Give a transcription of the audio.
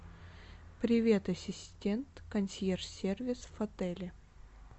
привет ассистент консьерж сервис в отеле